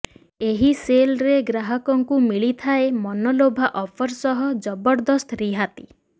ଏହି ସେଲରେ ଗ୍ରାହକଙ୍କୁ ମିଳିଥାଏ ମନଲୋଭା ଅଫର୍ ସହ ଜବରଦସ୍ତ ରିହାତି